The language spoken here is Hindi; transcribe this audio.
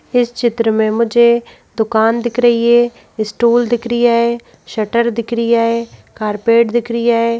इस चित्र में मुझे दुकान दिख रही है स्टूल दिख रिया है शटर दिख रिया है कारपेट दिख रिया है।